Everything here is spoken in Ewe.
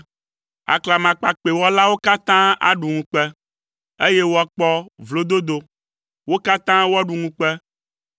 Aklamakpakpɛwɔlawo katã aɖu ŋukpe, eye woakpɔ vlododo. Wo katã woaɖu ŋukpe.